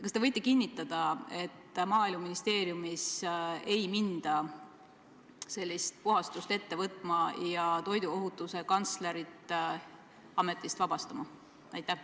Kas te võite kinnitada, et Maaeluministeeriumis ei hakata sellist puhastust ette võtma ja toiduohutuse kantslerit ametist vabastama?